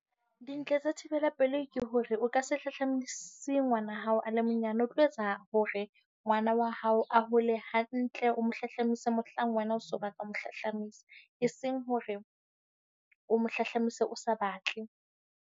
Dintle tsa thibelapelei ke hore o ka se hlahlamasi ngwana hao a le monyane. O tlo etsa hore ngwana wa hao a hole hantle. O mo hlahlamise mohlang wena o se o batla ho mo hlahlamisa. Eseng hore o mo hlahlamise o sa batle.